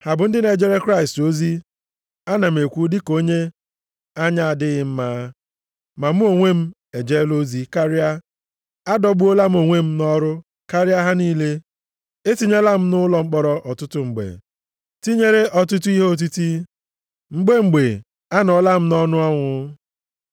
Ha bụ ndị na-ejere Kraịst ozi? (Ana m ekwu dịka onye anya na-adịghị mma.) Ma mụ onwe m ejela ozi karịa. Adọgbuola m onwe m nʼọrụ karịa ha niile. Etinyela m nʼụlọ mkpọrọ ọtụtụ mgbe, tinyere ọtụtụ ihe otiti, mgbe mgbe anọọla m nʼọnụ ọnwụ.